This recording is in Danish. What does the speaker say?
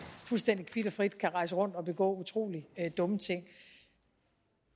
fuldstændig kvit og frit kan rejse rundt og begå utrolig dumme ting